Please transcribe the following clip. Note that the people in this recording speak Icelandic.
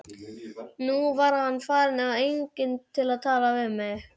Nú var hann farinn og enginn til að tala við.